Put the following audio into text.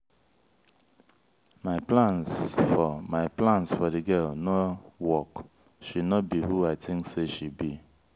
my plans for my plans for the girl no work. she no be who i think say she be.